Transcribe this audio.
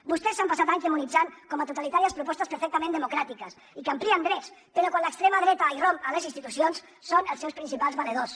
vostès s’han passat anys demonitzant com a totalitàries propostes perfectament democràtiques i que amplien drets però quan l’extrema dreta irromp a les institucions són els seus principals valedors